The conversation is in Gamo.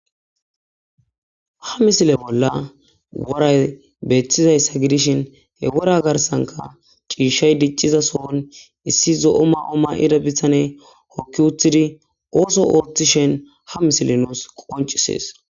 Ha misilen woray betizaysa gidishn he wora garsanka ciishay diciza sohon issi zo'o may'o mayida bitaney hoki utid ootho othishn ha misiley nus qoncises.